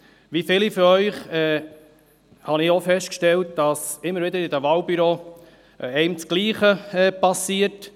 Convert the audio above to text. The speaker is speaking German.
Wie viele von Ihnen habe auch ich festgestellt, dass einem in den Wahlbüros immer wieder das Gleiche widerfährt.